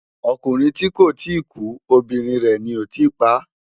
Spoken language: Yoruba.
Okúrin ti kó ti kú óbirin rè ni ó tì pá